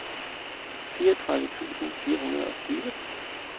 fireogtredive tusind fire hundrede og tyve